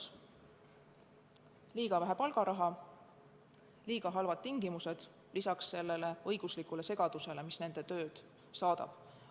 Seal on liiga vähe palgaraha ja liiga halvad tingimused lisaks sellele õiguslikule segadusele, mis nende tööd saadab.